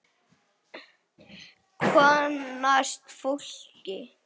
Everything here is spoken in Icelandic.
Kynnast fólki.